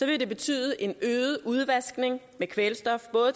vil det betyde en øget udvaskning med kvælstof